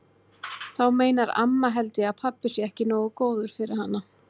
Þá meinar amma held ég að pabbi sé ekki nógu góður fyrir hana.